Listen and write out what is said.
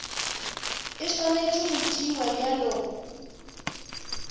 e swanetše go tšewa bjalo